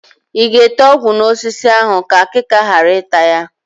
Ị ga-ete ọgwụ n'osisi ahụ ka akịka ghara ịta ya?